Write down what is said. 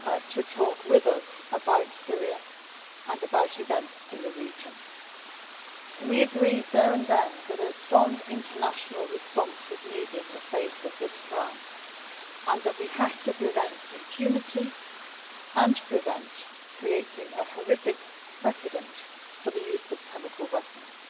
to talk with us about Syria and about events in the region. We agreed there and then that a strong international response was needed in the face of this crime and that we have to prevent impunity and prevent creating a horrific precedent for the use of chemical weapons.